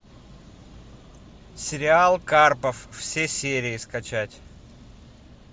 сериал карпов все серии скачать